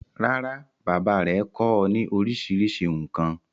rárá, bàbá rẹ̀ kọ́ ọ ní orísirísi nǹkan.